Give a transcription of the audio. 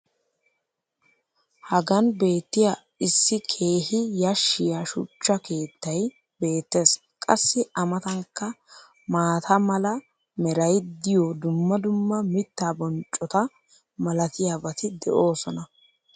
hagan beetiya issi keehi yashiya shuchcha keettay beetees. qassi a matankka maata mala meray diyo dumma dumma mitaa bonccota malatiyaabati de'oosona.